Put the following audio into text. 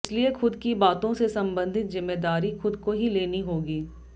इसलिए खुद की बातों से संबंधित जिम्मेदारी खुद को ही लेनी होगी